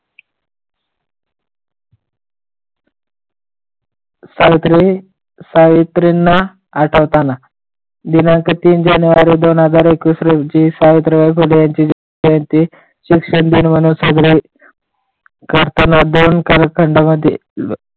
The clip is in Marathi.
सावित्री सावित्रींना आठवताना दिनांक तीन जानेवारी दोन हजार एकेविस रोजी सावित्रीबाई फुले यांची जयंती शिक्षिका दिन म्हणून साजर करताना दोन कालखंडामध्ये